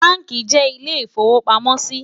bánkì jé ilé ifọ̀wopàmọ sí